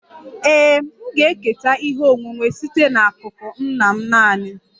Ee, m ga-eketa ihe onwunwe site n'akụkụ nna m naanị